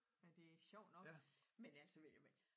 Nej det sjovt nok men altså men jo